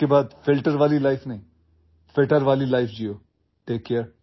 आजपासून फिल्टर असलेले जीवन नव्हे तर अधिक तंदुरुस्त जीवन जागा